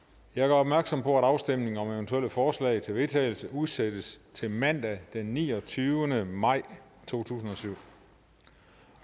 jeg gør opmærksom på at afstemning om eventuelle forslag til vedtagelse udsættes til mandag den niogtyvende maj to tusind